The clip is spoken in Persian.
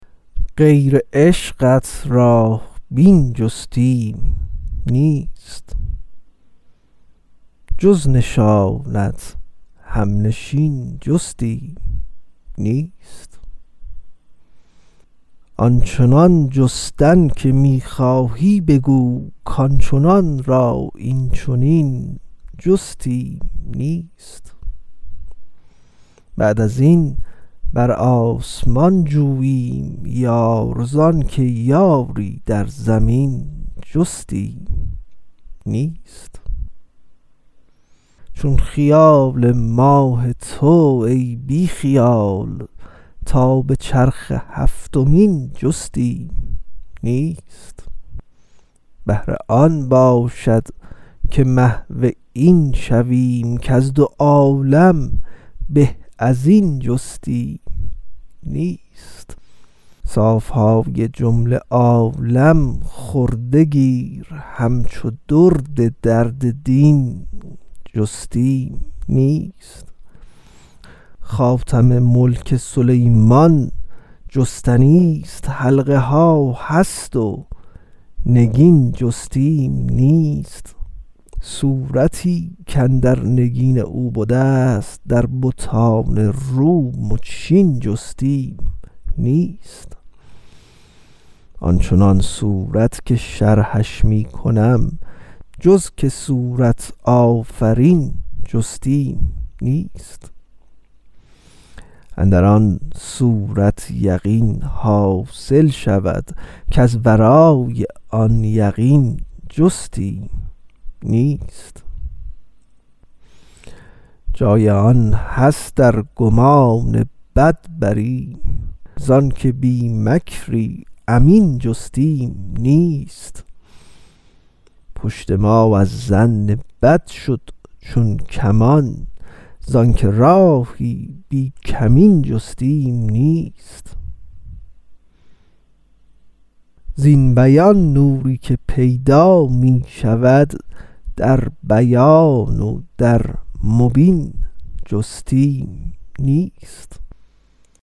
غیر عشقت راه بین جستیم نیست جز نشانت همنشین جستیم نیست آن چنان جستن که می خواهی بگو کان چنان را این چنین جستیم نیست بعد از این بر آسمان جوییم یار زانک یاری در زمین جستیم نیست چون خیال ماه تو ای بی خیال تا به چرخ هفتمین جستیم نیست بهتر آن باشد که محو این شویم کز دو عالم به از این جستیم نیست صاف های جمله عالم خورده گیر همچو درد درد دین جستیم نیست خاتم ملک سلیمان جستنیست حلقه ها هست و نگین جستیم نیست صورتی کاندر نگین او بدست در بتان روم و چین جستیم نیست آن چنان صورت که شرحش می کنم جز که صورت آفرین جستیم نیست اندر آن صورت یقین حاصل شود کز ورای آن یقین جستیم نیست جای آن هست ار گمان بد بریم ز آنک بی مکری امین جستیم نیست پشت ما از ظن بد شد چون کمان زانک راهی بی کمین جستیم نیست زین بیان نوری که پیدا می شود در بیان و در مبین جستیم نیست